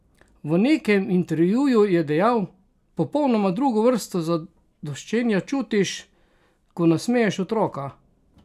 V nekem intervjuju je dejal: "Popolnoma drugo vrsto zadoščenja čutiš, ko nasmeješ otroka.